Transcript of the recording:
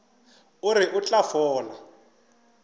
o re o tla fola